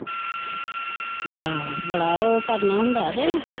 ਆਹੋ ਬੜਾ ਉਹ ਕਰਨਾ ਹੁੰਦਾ ਤੇ